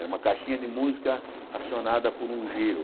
É uma caixinha de música acionada por um giro.